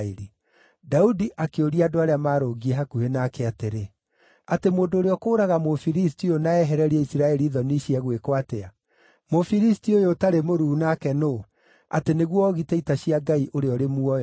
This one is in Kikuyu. Daudi akĩũria andũ arĩa maarũngiĩ hakuhĩ nake atĩrĩ, “Atĩ mũndũ ũrĩa ũkũũraga Mũfilisti ũyũ, na ehererie Isiraeli thoni ici egwĩkwo atĩa? Mũfilisti ũyũ ũtarĩ mũruu nake nũũ, atĩ nĩguo oogite ita cia Ngai ũrĩa ũrĩ muoyo?”